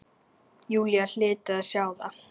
Júlía hlyti að sjá það.